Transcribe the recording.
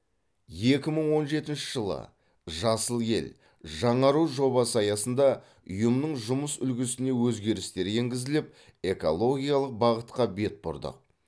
екі мың он жетінші жылы жасыл ел жаңару жобасы аясында ұйымның жұмыс үлгісіне өзгерістер енгізіліп экологиялық бағытқа бет бұрдық